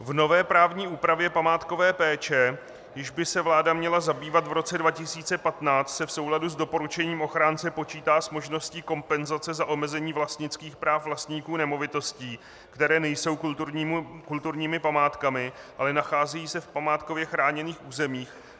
V nové právní úpravě památkové péče, jíž by se vláda měla zabývat v roce 2015, se v souladu s doporučením ochránce počítá s možností kompenzace za omezení vlastnických práv vlastníků nemovitostí, které nejsou kulturními památkami, ale nacházejí se v památkově chráněných územích.